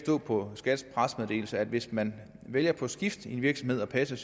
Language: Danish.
på skats pressemeddelelse at hvis man vælger på skift i en virksomhed at passe